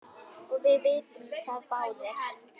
og við vitum það báðir.